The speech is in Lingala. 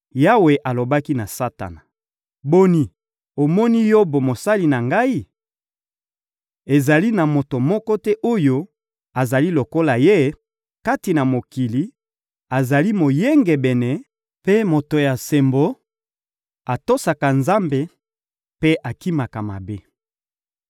Yawe alobaki na Satana: — Boni, omoni Yobo, mosali na Ngai? Ezali na moto moko te oyo azali lokola ye, kati na mokili: azali moyengebene mpe moto ya sembo, atosaka Nzambe mpe akimaka mabe.